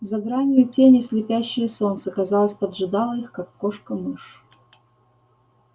за гранью тени слепящее солнце казалось поджидало их как кошка мышь